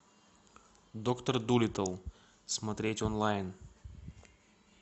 доктор дулиттл смотреть онлайн